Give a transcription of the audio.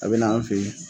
A bɛ na an fɛ yen